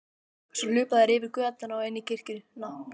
Svo hlupu þær yfir götuna og inn í kirkjuna.